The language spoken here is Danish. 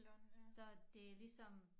Så det ligesom